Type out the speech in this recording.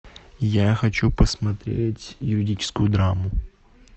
я хочу посмотреть юридическую драму